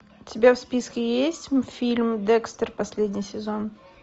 у тебя в списке есть фильм декстер последний сезон